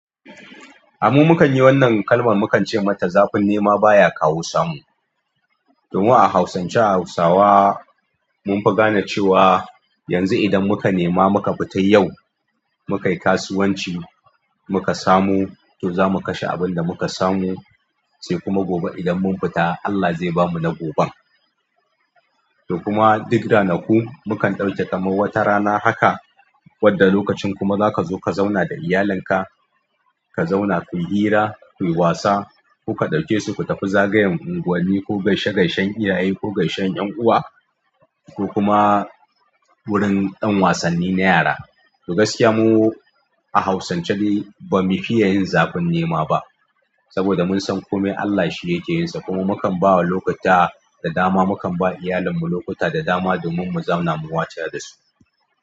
A mu mukan yi wannan kalmar mukan ce mata zafin nema baya kawo samu. To mu a hausance a hausawa mun fi gane cewa yanzu idan muka nema muka fita yau muka yi kasuwanci muka samu to za mu kashe abin da muka samu sai kuma gobe idan mun fita Allah zai bamu na goben. To kuma duk ranaku mukan ɗauke kamar wata rana haka wanda lokacin kuma zaka zo ka zauna da iyalinka ka zauna kuyi hira kuyi wasa kuka ɗauke su ku tafi zagayen unguwanni ko gaishe-gaishen iyaye ko gaishen ƴan uwa ko kuma wurin d'an wasanni na yara. To gaskiya mu a hausance dai bamu fiya yin zafin nema ba saboda mun san komai Allah shi yake yinsa kuma mukan ba lokuta da dama mukan ba iyalarmu lokuta da dama domin mu zauna mu wataya dasu.